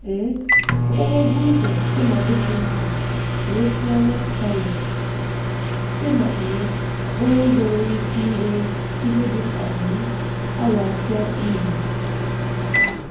um Ogologo ụzọ site na Bukittinggi ruo Sianok Canyon site ná um okporo ụzọ nwere ike iwe ihe dị ka um awa atọ irure.